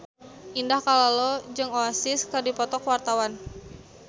Indah Kalalo jeung Oasis keur dipoto ku wartawan